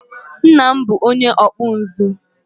Nna m bụ onye ọkpụ nzu